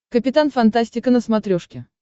капитан фантастика на смотрешке